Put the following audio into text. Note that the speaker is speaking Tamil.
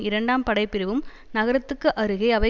இரண்டாம் படைப்பிரிவும் நகரத்திற்கு அருகே அவை